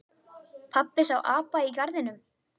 Pabbi sá apa í garðinum.